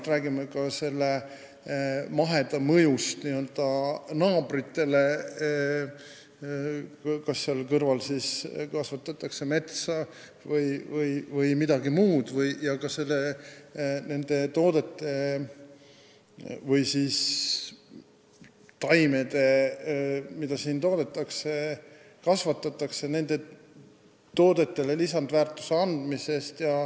Me räägime ka mõjust n-ö naabritele, kui seal kõrval kasvatatakse metsa või midagi muud, lisandväärtuse andmisest nendele toodetele või taimedele, mida siin toodetakse või kasvatatakse, ning ekspordist.